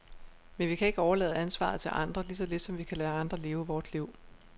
Men vi kan ikke overlade ansvaret til andre, lige så lidt som vi kan lade andre leve vort liv.